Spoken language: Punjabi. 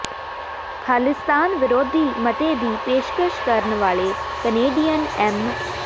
ਖਾਲਿਸਤਾਨ ਵਿਰੋਧੀ ਮਤੇ ਦੀ ਪੇਸ਼ਕਸ਼ ਕਰਨ ਵਾਲੇ ਕਨੇਡੀਅਨ ਐਮ